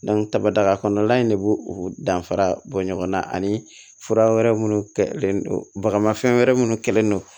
kaba kɔnɔla in de b'o o danfara bɔ ɲɔgɔn na ani fura wɛrɛ minnu bagafɛn wɛrɛ minnu kɛlendo